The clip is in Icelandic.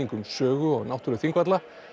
um sögu og náttúru Þingvalla